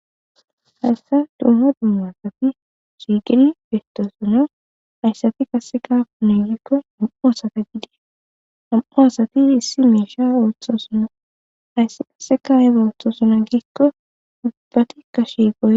Haysan dumma dumma asat shiqid betosona.haysatika qase apune gikon nam'u asat , nam'u asat ssi misha oothosona , hays qase ayba otosona giikon